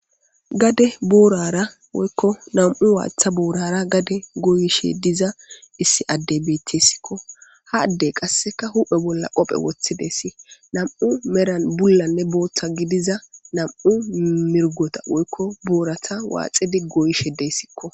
Gade boorara woykko nam'u waatha boorara gade goyishe diza issi addebetessikko hadde qasseka huphe bolla qophe woththidesi nam'u meran bullanne booththa gidiza nam'u mirgota woykko boorata waaxidi gooyishe dessikko.